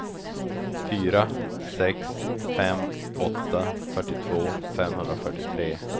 fyra sex fem åtta fyrtiotvå femhundrafyrtiotre